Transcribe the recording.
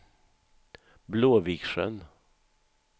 Blåviksjön